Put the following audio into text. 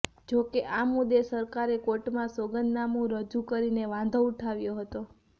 જો કે આ મુદ્દે સરકારે કોર્ટમાં સોગંદનામું રજૂ કરીને વાંધો ઉઠાવ્યો હતો